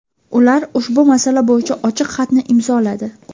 Ular ushbu masala bo‘yicha ochiq xatni imzoladi.